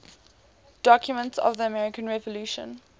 documents of the american revolution